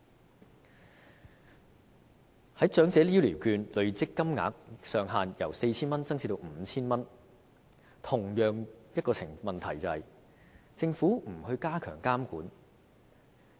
關於長者醫療券累積金額上限由 4,000 元增至 5,000 元，這裏出現同樣問題，也就是政府並無加強監管。